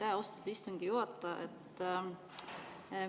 Aitäh, austatud istungi juhataja!